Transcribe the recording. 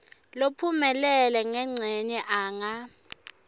lophumelele ngencenye anga